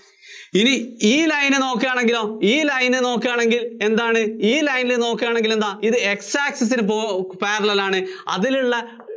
ഇനി ഈ line നേ നോക്കുവാണെങ്കിലൊ, ഈ line നേ നോക്കുവാണെങ്കില്‍ എന്താ? ഈ line നേ നോക്കുവാണെങ്കിലെന്താ ഇത് X access ന് parellel ആണ്. അതിലുള്ള